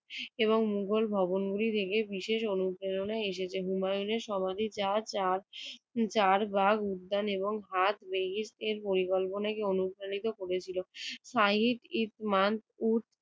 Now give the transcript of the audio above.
এবং মোগল ভবনটি ভেঙ্গে বিশেষ অনুপ্রেরণা এসেছে। হুমায়ুনের সমাধিতে চার ভাগ উদ্যান এবং পরিকল্পনাকে অনুপ্রাণিত করেছিল। সাহিক ই